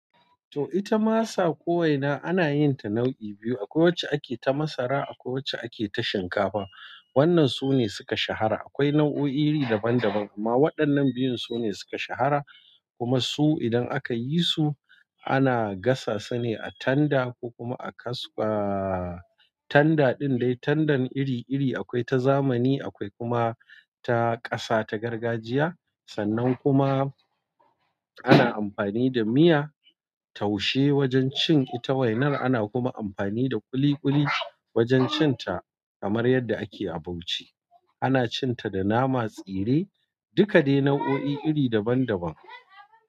To ita masa ko waina ana yin ta nau'i biyu. Akwai wacce ake ta masara, akwai wacce ake ta shinkafa. Wannan su ne suka shahara. Akwai nau'o'i iri daban-daban, amma waɗannan biyun su ne suka shahara. Kuma su idan aka yi su ana gasa su ne a tanda ko kuma a kaska. Tanda ɗin dai, tandan iri-iri akwai ta zamani, akwai kuma ta ƙasa, ta gargajiya. Sannan kuma ana amfani da miya taushe wajen cin ita wainar. Ana kuma amfani da ƙuli-ƙuli wajen cin ta kamar yadda ake a Bauchi. Ana cin ta da nama tsire, duka dai nau'o'i iri daban daban.